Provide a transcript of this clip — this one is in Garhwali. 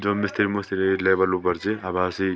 जो मिस्त्री मुस्त्री लेबर लुबर च अभासी ।